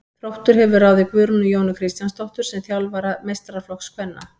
Þróttur hefur ráðið Guðrúnu Jónu Kristjánsdóttur sem þjálfara meistaraflokks kvenna.